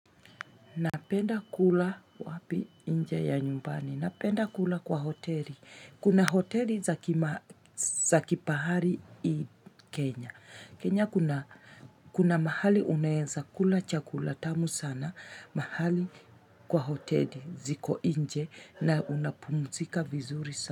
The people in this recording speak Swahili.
Napenda kula wapi nje ya nyumbani. Napenda kula kwa hoteli. Kuna hoteli za kifahari hii Kenya. Kenya kuna mahali unaeza kula chakula tamu sana. Mahali kwa hoteli ziko inje na unapumzika vizuri sana.